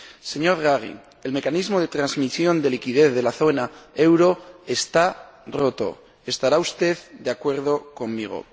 Señor Draghi, el mecanismo de transmisión de liquidez de la zona euro está roto estará usted de acuerdo conmigo.